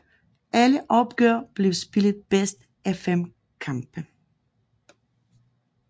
Alle opgør blev spillet bedst af fem kampe